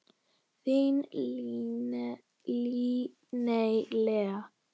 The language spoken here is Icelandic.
Þín Líney Lea.